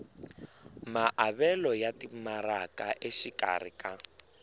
maavelo ya timaraka exikarhi ka